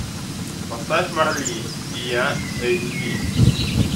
поставь марли и я эйч ди